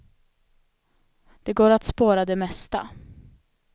Det går att spåra det mesta.